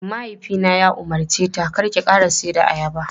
My father ordered her "stop selling bananas!"